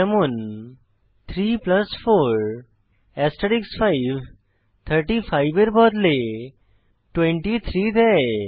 যেমন 3 4 5 35 এর বদলে 23 দেয়